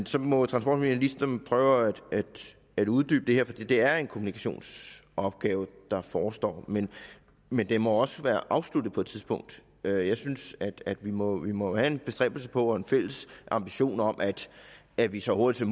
så må transportministeren prøve at uddybe det for det er en kommunikationsopgave der forestår men men den må også være afsluttet på et tidspunkt jeg synes at vi må vi må have en bestræbelse på og en fælles ambition om at vi så hurtigt